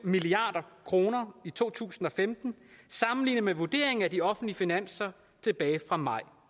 milliard kroner i to tusind og femten sammenlignet med vurderingen af de offentlige finanser tilbage fra maj